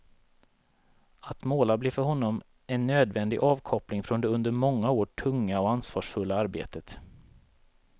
Att måla blev för honom en nödvändig avkoppling från det under många år tunga och ansvarsfulla arbetet.